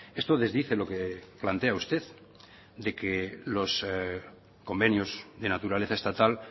esto desdice lo que plantea usted de que los convenios de naturaleza estatal